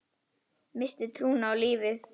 Missti trúna á lífið.